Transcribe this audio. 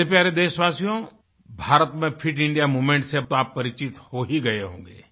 मेरे प्यारे देशवासियो भारत में फिट इंडिया मूवमेंट से तो आप परिचित हो ही गए होंगे